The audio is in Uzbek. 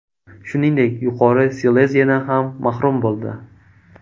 Shuningdek, Yuqori Sileziyadan ham mahrum bo‘ldi.